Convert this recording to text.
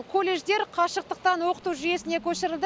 колледждер қашықтықтан оқыту жүйесіне көшірілді